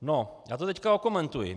No, já to teď okomentuji.